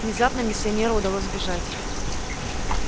внезапно миссионеру удалось сбежать